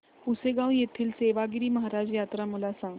पुसेगांव येथील सेवागीरी महाराज यात्रा मला सांग